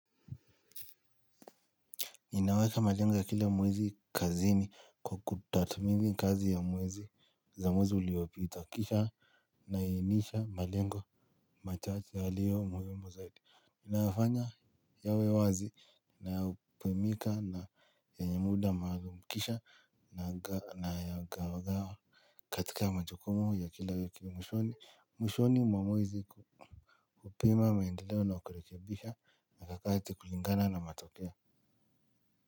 Ninaweka malengo ya kila mwezi kazini kwa kutathmini kazi ya mwezi za mwezi uliopita. Kisha nainisha malengo machache yaliyo muhimu zaidi. Nafanya yawe wazi na hupimika na yenye muda maalum. Kisha nayagawagawa katika majukumu ya kila wiki. Mwishoni, mwishoni mwa mwezi kuupima maendeleo na kurekebisha na harakati kulingana na matokeo.